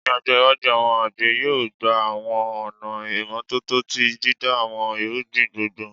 Ni ọjọ iwaju, awọn agbe yoo gba awọn ọna imotuntun ti dida awọn irugbin gbongbo